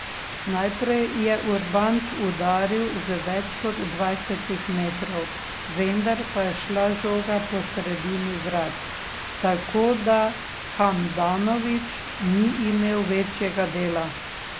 Najprej je Urbanč udaril z več kot dvajsetih metrov, vendar pa je šla žoga po sredini vrat, tako da Handanović ni imel večjega dela.